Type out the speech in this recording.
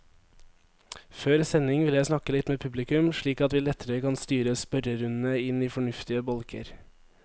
Før sending vil jeg snakke litt med publikum, slik at vi lettere kan styre spørrerundene inn i fornuftige bolker.